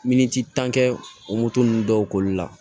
Miniti tan kɛ o moto ninnu dɔw k'olu la